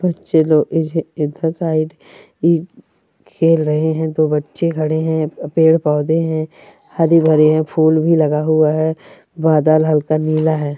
बच्चे लोग इज इधर साइड इ खेल रहे हैं दो बच्चे खड़े हैं पेड़ पौधे हैं हरे भरे हैं फूल भी लगा हुआ हैं बादल हल्का नीला है।